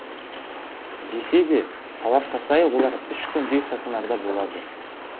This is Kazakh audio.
десе де талапқа сай олар үш күндей стационарда болады